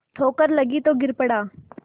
ठोकर लगी तो गिर पड़ा